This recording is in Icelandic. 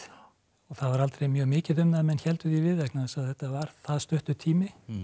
það var aldrei mjög mikið um það að menn héldu því við vegna þess að þetta var það stuttur tími